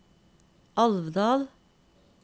Alvdal